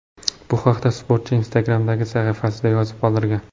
Bu haqda sportchi Instagram’dagi sahifasida yozib qoldirgan .